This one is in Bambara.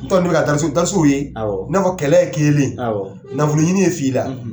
N t'a dɔn n'u bɛ ka ye i n'a fɔ kɛlɛ kelen nafoloɲini ye fila.